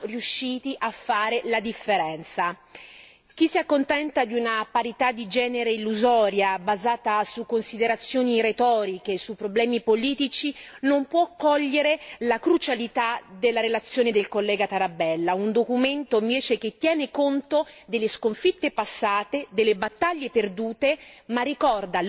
Chi si accontenta di una parità di genere illusoria, basata su considerazioni retoriche e su problemi politici non può cogliere la crucialità della relazione del collega Tarabella, un documento, invece, che tiene conto delle sconfitte passate, delle battaglie perdute, ma ricorda all'opinione pubblica e alle altre Istituzioni europee